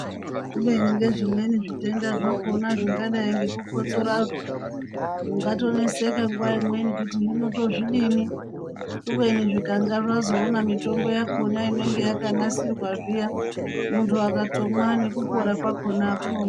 Kubeni ngezvimweni zvitendazvakona zvingadai ngekukotsorazvo ,mungatoneseka nguwaimweni kuti hinotozvidini .kubeni zvikangazvazoona mitombo yakona yakanasirwa zviya muntu akatomwa nekupora kwakona akunonoki.